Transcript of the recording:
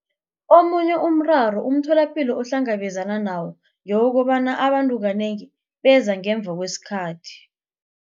Omunye umraro umtholapilo ohlangabezana nawo ngewokobana abantu kanengi beza ngemva kwesikhathi.